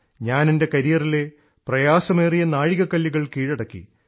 ഞാൻ എൻറെ കരിയറിലെ പ്രയാസമേറിയ നാഴികക്കല്ലുകൾ കീഴടക്കി